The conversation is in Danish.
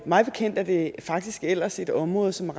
mig bekendt er det faktisk ellers et område som